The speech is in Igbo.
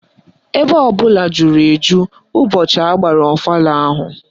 Ebe ọbụla juru eju ụbọchị agbara ọfala ahụ